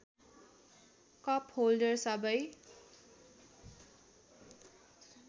cup holder सबै